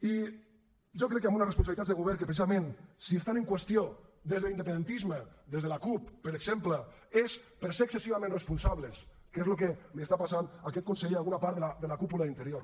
i jo crec que amb unes responsabilitats de govern que precisament si estan en qüestió des de l’independentisme des de la cup per exemple és per ser excessivament responsables que és el que li està passant a aquest conseller a alguna part de la cúpula d’interior